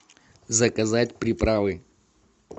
заказать приправы